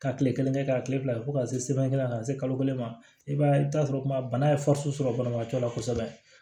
Ka kile kelen kɛ ka kile fila kɛ fo ka se sɛbɛn kelen na ka se kalo kelen ma i b'a ye i bi taa sɔrɔ kuma bana ye sɔrɔ banabaatɔ la kosɛbɛ